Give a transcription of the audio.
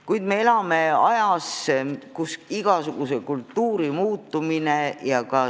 Kuid me elame ajas, kus käitumiskultuur muutub.